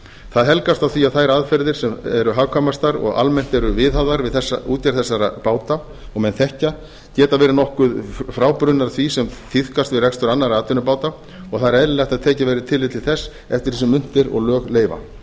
það helgast af því að þær aðferðir sem eru hagkvæmastar og almennt eru viðhafðar við útgerð þessara báta og menn þekkja geti verið nokkuð frábrugðnar því sem tíðkast við rekstur annarra atvinnubáta og það er eðlilegt að tekið verði tillit til þess eftir því sem unnt er og lög leyfa